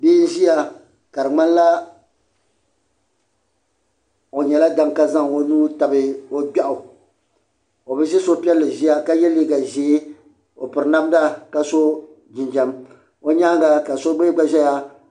Bia n ʒia ka di ŋmanila o nyɛla daŋa ka zaŋ o nuu tabi o gbeɣu o bi ʒi suhupiɛlli ʒia ka ye liiga ʒee o piri namda ka so jinjiɛm o nyaanga ka so mee gba ʒɛya.